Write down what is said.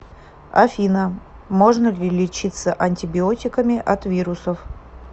афина можно ли лечиться антибиотиками от вирусов